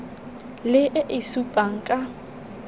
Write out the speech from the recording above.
le e e supang ka